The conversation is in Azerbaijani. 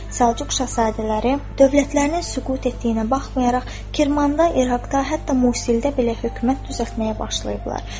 Səlcuq şahzadələri dövlətlərinin süqut etdiyinə baxmayaraq, Kirmanda, İraqda, hətta Musildə belə hökumət düzəltməyə başlayıblar.